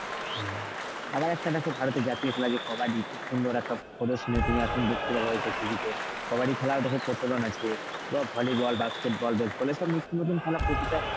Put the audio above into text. হ্যাঁ আবার একটা দেখো ভারতের জাতীয় খেলা যে কবাডি, খুব সুন্দর একটা প্রদর্শনী তুমি এখন দেখতে পাবে হয়তো TV তে কবাডি খেলা ওটাকেও প্রচলন আছে বা volleyball, basketball, baseball এসব নিত্যনতুন খেলা প্রতিটা